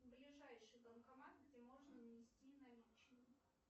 ближайший банкомат где можно внести наличные